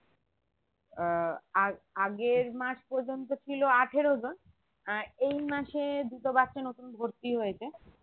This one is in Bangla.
আহ আগ~ আগের মাস পর্যন্ত ছিল আঠেরো জন আহ এই মাসে দুটো বাচ্চা নতুন ভর্তি হয়েছে